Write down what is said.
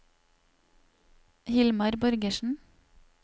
Hilmar Borgersen